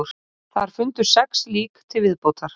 Þar fundust sex lík til viðbótar